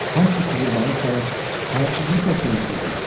Hamsı çığırbağır salır, həyasızlıqla söyüşürdülər.